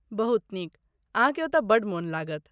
बहुत नीक, अहाँकेँ ओतऽ बड्ड मोन लागत।